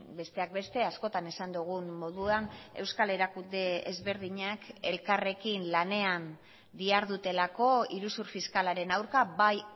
besteak beste askotan esan dugun moduan euskal erakunde ezberdinak elkarrekin lanean dihardutelako iruzur fiskalaren aurka bai